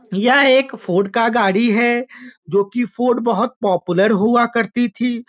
यह एक फोर्ड का गाड़ी है जो कि फोर्ड बहुत पोपुलर हुआ करती थी।